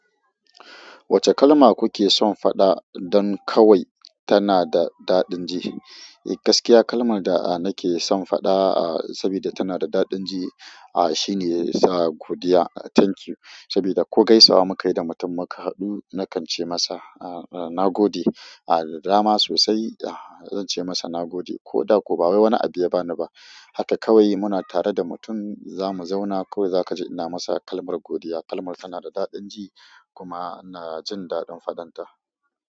Wacce kalma kuke son faɗa don kawai tana da daɗin ji? Eh gaskiya kalmar da nake son faɗa saboda tana da daɗin ji ahh shine sa godiya thank you. Saboda ko gaisawa muka yi da mutum muka haɗu na kan ce masa na gode. Ahh godiya ma sosai zance maka nagode koda ko bawai wani abu ya bani bah haka kawai muna tare da mutum za mu zauna kawai za ka ji ina masa kalmar godiya. Kalmar tana da daɗin ji kuma ina jin daɗin fadanta.